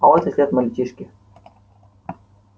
а вот и след мальчишки